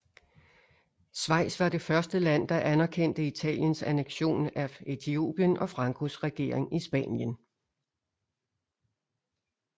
Schweiz var det første land der anerkendte Italiens annektion af Etiopien og Francos regering i Spanien